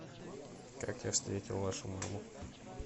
как я встретил вашу маму